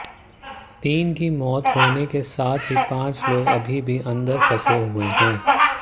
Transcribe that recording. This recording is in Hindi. तीन की मौत होने के साथ ही पांच लोग अभी भी अंदर फंसे हुए हैं